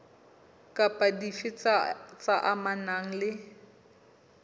kapa dife tse amanang le